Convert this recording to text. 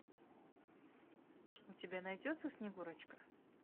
у тебя найдется снегурочка